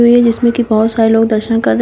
बहुत सारे लोग दर्शन कर रहे--